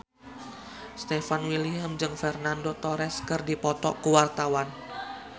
Stefan William jeung Fernando Torres keur dipoto ku wartawan